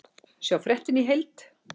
Sjá fréttina í heild